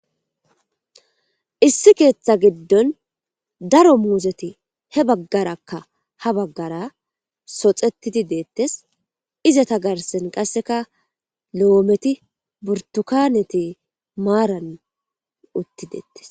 Issi keeththa giddon daro muuzeti he baggarakka ha baggara soxetidi deettes iza ta garsen qasseka lo'ometi burtukaneti maaran utti deettes